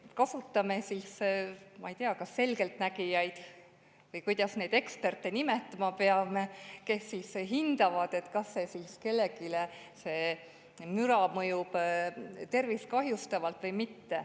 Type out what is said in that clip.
Kasutame kas selgeltnägijaid või kuidas neid eksperte nimetama peaks, kes siis hindavad, kas kellelegi see müra mõjub tervist kahjustavalt või mitte.